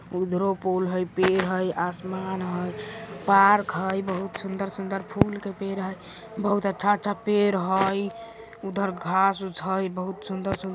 उधरो पूल हय पेड़ हय आसमान हय पार्क हय बहुत सुन्दर-सुन्दर फूल के पेड़ हय बहुत अच्छा-अच्छा पेड़ हय उधर घास उस हय बहुत सुन्दर सुन --